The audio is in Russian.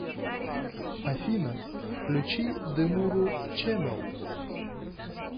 афина включи демуру чэнэл